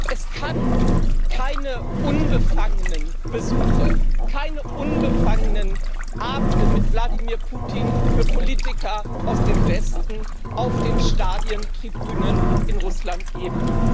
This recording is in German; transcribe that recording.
Es kann für Politiker aus dem Westen keine unbefangenen Besuche, keine unbefangenen Abende mit Wladimir Putin auf den Stadien Tribünen in Russland geben.